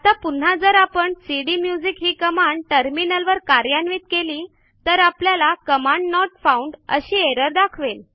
आता पुन्हा जर आपण सीडीम्युझिक ही कमांड टर्मिनलवर कार्यान्वित केली तर आपल्याला कमांड नोट फाउंड अशी एरर दाखवेल